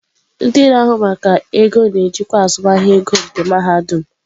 Ndị na-ahụ maka ego na-ejikwa azụmahịa ego nke mahadum.